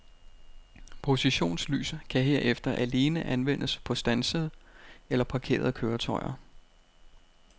Positionslys kan herefter alene anvendes på standsede eller parkerede køretøjer.